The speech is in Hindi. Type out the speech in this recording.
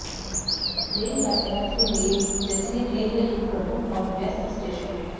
रेल यातायात के लिए जसीडीह एक प्रमुख और व्यस्त स्टेशन है